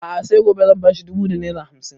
A'a sai gobe zan ba shi dubu da naira hamsin